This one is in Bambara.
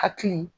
Hakili